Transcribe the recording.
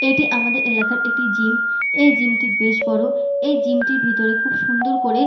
এটি আমাদের এলাকার একটি জিম এই জিম টি বেশ বড় এই জিম টির ভেতরে খুব সুন্দর করে--